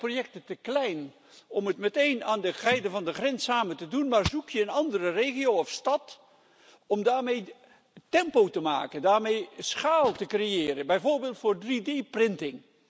Soms zijn projecten te klein om ze meteen aan de zijden van de grens samen te doen, maar zoek je een andere regio of stad om daarmee tempo te maken, daarmee schaal te creëren, bijvoorbeeld voor 3D printen.